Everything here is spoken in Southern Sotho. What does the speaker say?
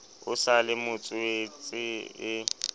o sa le motswetse e